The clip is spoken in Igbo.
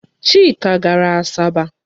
Chike gara Asaba.